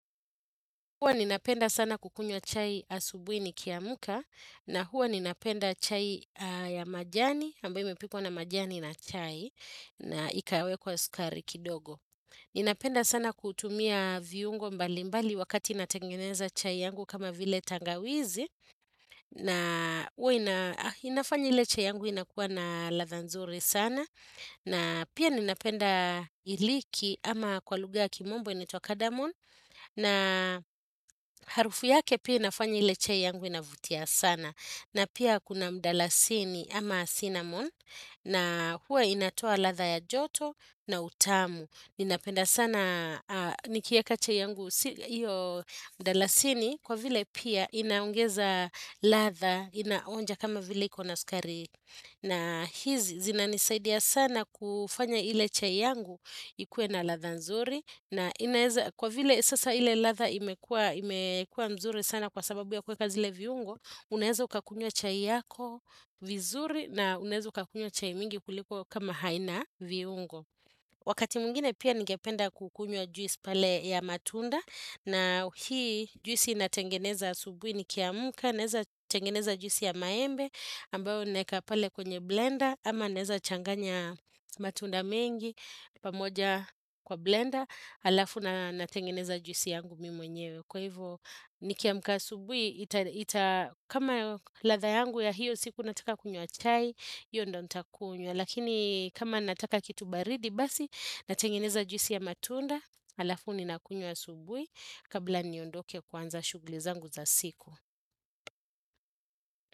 Huwa ninapenda sana kukunywa chai asubuhi nikiamka na huwa ninapenda chai ya majani, ambayo imepikwa na majani na chai na ikawekwa sukari kidogo. Ninapenda sana kutumia viungo mbalimbali wakati natengeneza chai yangu kama vile tangawizi na huwa inafanya ile chai yangu inakuwa na ladha nzuri sana. Na pia ninapenda iliki ama kwa lugha kimombo initwa cardamom. Na harufu yake pia inafanya ile chai yangu inavutia sana. Na pia kuna mdalasini ama cinnamon. Na huwa inatoa ladha ya joto na utamu. Ninapenda sana nikieka chai yangu. Hiyo mdalasini kwa vile pia inaongeza ladha. Inaonja kama vile iko na sukari. Na hizi zinanisaidia sana kufanya ile chai yangu ikuwe na ladha nzuri na inaweza kwa vile sasa ile ladha imekuwa mzuri sana kwa sababu ya kuweka zile viungo, unaweza ukakunywa chai yako vizuri na unaweza ukakunywa chai mingi kuliko kama haina viungo. Wakati mwingine pia ningependa kukunywa juisi pale ya matunda na hii juisi natengeneza asubuhi nikiamka, nawezatengeneza juisi ya maembe ambayo naweka pale kwenye blender ama naweza changanya matunda mengi pamoja kwa blender alafu natengeneza juisi yangu mimi mwenyewe. Kwa hivyo nikiamka asubuhi, kama ladha yangu ya hiyo siku nataka kunywa chai, hiyo nda ndiyo nitakunywa. Lakini kama nataka kitu baridi basi, natengineza juisi ya matunda, alafu ninakunywa asubuhi kabla niondoke kuanza shughuli zangu za siku.